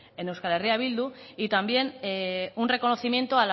en euskal herria bildu y también un reconocimiento